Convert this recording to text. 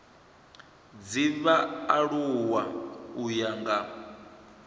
dza vhaaluwa u ya nga